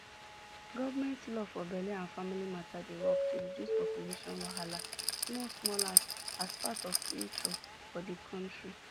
government law for belle and family matter dey work to reduce population wahala small smallas part of lfuture plan for the country